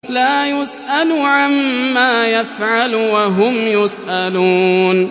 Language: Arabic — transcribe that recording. لَا يُسْأَلُ عَمَّا يَفْعَلُ وَهُمْ يُسْأَلُونَ